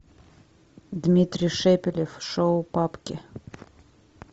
дмитрий шепелев шоу папки